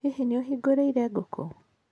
Hihi nĩ ũhingũrĩire ngũkũ?